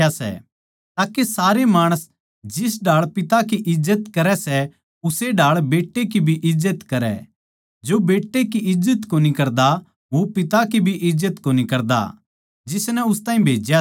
के सारे माणस जिस ढाळ पिता की इज्जत करै सै उस्से ढाळ बेट्टै की भी इज्जत करै जो बेट्टै की इज्जत कोनी करदा वो पिता की जिसनै उस ताहीं भेज्या सै इज्जत कोनी करदा